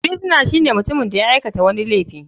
Firisuna shine mutumin da ya aikata wani laifi.